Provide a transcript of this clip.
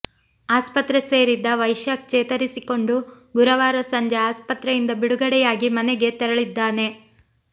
ಆಸ್ಪತ್ರೆ ಸೇರಿದ್ದ ವೈಶಾಖ್ ಚೇತರಿಸಿಕೊಂಡು ಗುರುವಾರ ಸಂಜೆ ಆಸ್ಪತ್ರೆಯಿಂದ ಬಿಡುಗಡೆಯಾಗಿ ಮನೆಗೆ ತೆರಳಿದ್ದಾನೆ